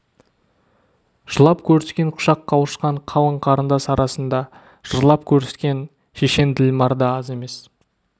жылап көріскен құшақ қауышқан қалың қарындас арасында жырлап көріскен шешен ділмар да аз емес